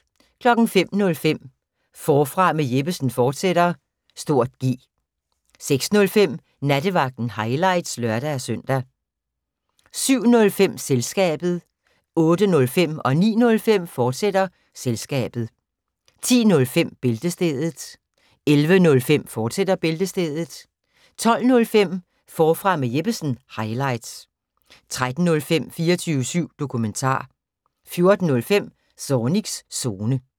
05:05: Forfra med Jeppesen fortsat (G) 06:05: Nattevagten – highlights (lør-søn) 07:05: Selskabet 08:05: Selskabet, fortsat 09:05: Selskabet, fortsat 10:05: Bæltestedet 11:05: Bæltestedet, fortsat 12:05: Forfra med Jeppesen – highlights 13:05: 24syv Dokumentar 14:05: Zornigs Zone